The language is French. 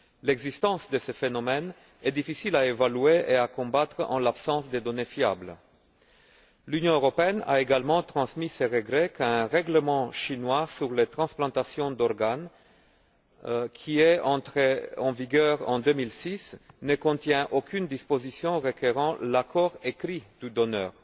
L'existence de ce phénomène est difficile à évaluer et à combattre en l'absence de données fiables. L'Union européenne a également transmis ses regrets qu'un règlement chinois sur les transplantations d'organes, qui est entré en vigueur en 2006, ne contienne aucune disposition requérant l'accord écrit du donneur.